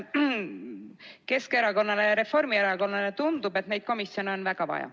Keskerakonnale ja Reformierakonnale tundub, et neid komisjone on väga vaja.